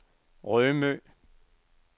Rømø